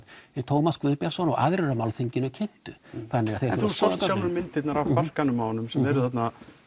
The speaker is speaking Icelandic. Tómas Guðbjartsson og aðrir á málþinginu kynntu en þú sást sjálfur myndirnar af barkanum á honum sem eru þarna